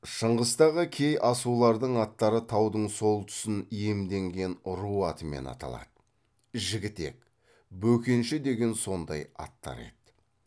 шыңғыстағы кей асулардың аттары таудың сол тұсын иемденген ру атымен аталады жігітек бөкенші деген сондай аттар еді